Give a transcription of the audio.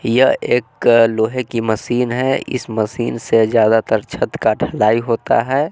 यह एक लोहे की मशीन है इस मशीन से ज्यादा तर छत का ढलाई होता है।